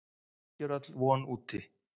Ekki er öll von úti.